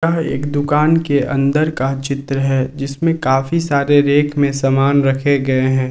अ एक दुकान के अंदर का चित्र है जिसमें काफी सारे रेक में सामान रखे गए हैं।